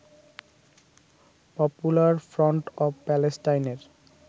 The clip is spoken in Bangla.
পপুলার ফ্রন্ট অব প্যালেস্টাইনের